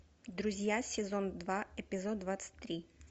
друзья сезон два эпизод двадцать три